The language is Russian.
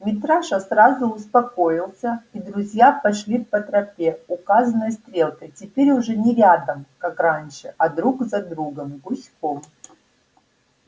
митраша сразу успокоился и друзья пошли по тропе указанной стрелкой теперь уже не рядом как раньше а друг за другом гуськом